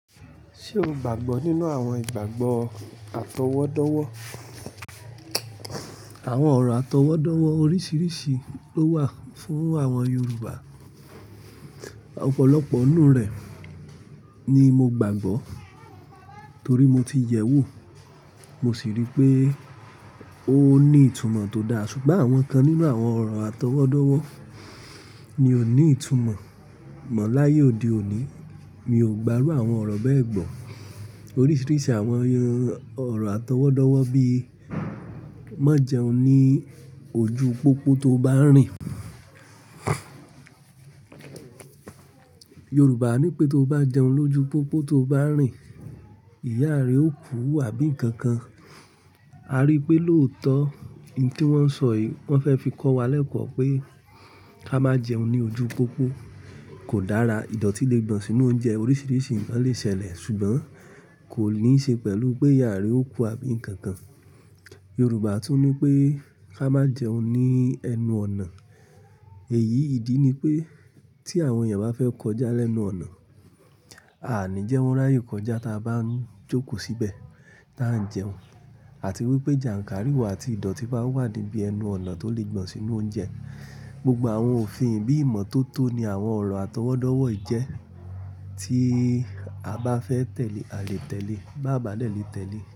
Ṣé o gbàgbọ́ nínú àwọn ìgbàgbọ́ atọwọ́dọ́wọ́? Àwọn ọ̀rọ̀ atọwọ́dọ́wọ́ oríṣiríṣi ló wà fún àwọn Yoruba. Ọ̀pọ̀lọpọ̀ nínú rẹ̀ ni mo gbàgbọ́ torí mo ti yẹ̀ wò, mo sì rí pé ó ní ìtumọ̀ tó dáa. Ṣùgbọ́n àwọn kan nínú àwọn ọ̀rọ̀ atọwọ́dọ́wọ́ ni ò ní ìtumọ̀ mọ́ láyé òde òní. Mi ò gbárù àwọn ọ̀rọ̀ bẹ́ẹ̀ gbọ́. Oríṣiríṣi àwọn ọ̀rọ̀ atọwọ́dọ́wọ́ bíi "má jẹun ní ojú pópó tó bá rìn". Yoruba ní pé tó bá jẹun lójú pópó tó bá rìn, ìyá rẹ ó kú àbí nǹkan kan. A rí i pé lóòótọ́, ohun tí wọ́n sọ yìí wọ́n fẹ́ fi kọ́ wa lẹ́kọ̀ọ́ pé ká má jẹun ní ojú pópó, kò dára. Ìdọ̀tí lè gbọ̀n sínú oúnjẹ, oríṣiríṣi nǹkan lè ṣẹlẹ̀ ṣùgbọ́n kò ní ṣe pẹ̀lú pé ìyá rẹ ó kú àbí nǹkan kan. Yoruba tún ní pé ká má jẹun ní ẹnu ọ̀nà. Èyí ìdí ni pé tí àwọn èèyàn bá fẹ́ kọjá lẹ́nu ọ̀nà, aàní jẹ́ wọ́n ráyè kọjá tá a bá ń jókòó síbẹ̀ tá a ń jẹun àti wípé jànkárìwọ̀ àti ìdọ̀tí bá wà níbi ẹnu ọ̀nà tó lè gbọ̀n sínú oúnjẹ. Gbogbo àwọn òfin bíi ìmọ́tótó ni àwọn ọ̀rọ̀ atọwọ́dọ́wọ́ i jẹ́ tí a bá fẹ́ tẹ̀lé a lè tẹ̀lé, bá babá nà lé tẹ̀lé.